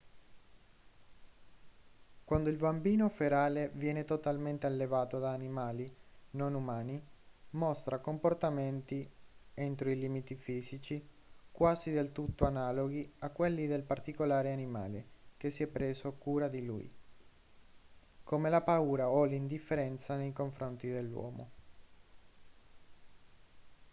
quando il bambino ferale viene totalmente allevato da animali non umani mostra comportamenti entro i limiti fisici quasi del tutto analoghi a quelli del particolare animale che si è preso cura di lui come la paura o l'indifferenza nei confronti dell'uomo